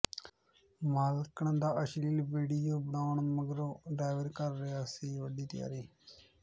ਮਾਲਕਣ ਦਾ ਅਸ਼ਲੀਲ ਵੀਡੀਓ ਬਣਾਉਣ ਮਗਰੋਂ ਡਰਾਈਵਰ ਕਰ ਰਿਹਾ ਸੀ ਵੱਡੀ ਤਿਆਰੀ